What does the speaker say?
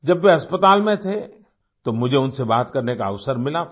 जब वे अस्पताल में थे तो मुझे उनसे बात करने का अवसर मिला था